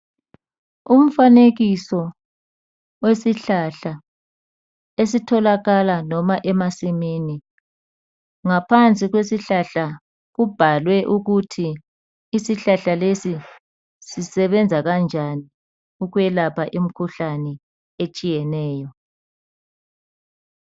Umfanekiso wesihlahla esitholakala noma emasimini. Ngaphansi kwesihlahla kubhalwe ukuthi isihlahla lesi sisebenza njani ukwelapha imikhuhlane etshiyeneyo.